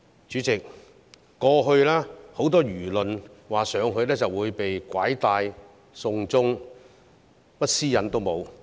主席，過去很多輿論說去內地就會被拐帶、被"送中"，甚麼私隱也沒有。